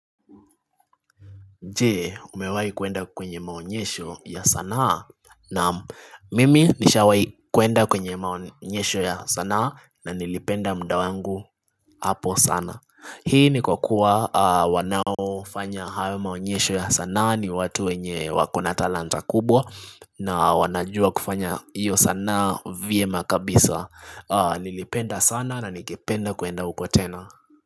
Je umewai kuenda kwenye maonyesho ya sanaa nam mimi nisha wai kuenda kwenye maonyesho ya sanaa na nilipenda mdawangu hapo sana Hii ni kwa kuwa wanao fanya hawa maonyesho ya sanaa ni watu wenye wakona talanta kubwa na wanajua kufanya iyo sanaa vyema kabisa Nilipenda sana na nikipenda kuenda uko tena.